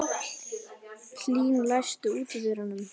Hlín, læstu útidyrunum.